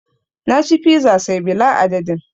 Na ci fiza say bila adadin